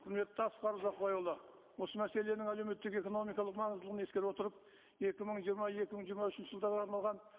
құрметті асқар ұзақбайұлы осы мәселенің әлеуметтік экономикалық маңыздылығын ескере отырып екі мың жиырма екі мың жиырма үшінші жылдарға арналған